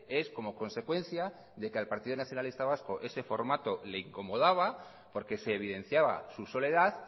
es como consecuencia de que al partido nacionalista vasco ese formato le incomodaba porque se evidenciaba su soledad